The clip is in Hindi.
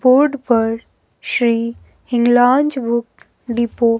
बोर्ड पार श्री हिगलोंज बुक डिपो --